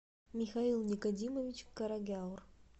михаил никодимович карагяур